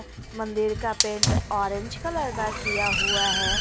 मंदिर का paint orange colour का किया हुआ है।